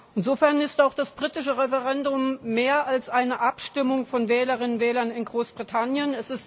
Insofern ist auch das britische Referendum mehr als eine Abstimmung von Wählerinnen und Wählern in Großbritannien.